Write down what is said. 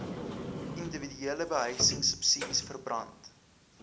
indiwiduele behuisingsubsidies verband